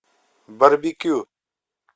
барбекю